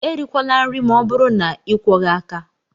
Erikwala nri ma ọ bụrụ na ịkwọghị aka!